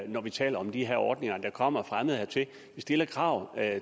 når vi taler om de her ordninger der kommer fremmede hertil og vi stiller krav